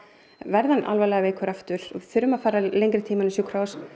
verði hann alvarlega veikur aftur við þurfum að fara lengri tíma á sjúkrahús